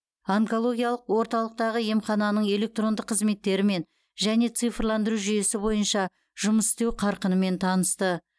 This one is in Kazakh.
онкологиялық орталықтағы емхананың электронды қызметтерімен және цифрландыру жүйесі бойынша жұмыс істеу қарқынымен танысты